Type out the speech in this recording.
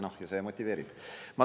" Ja see motiveerib.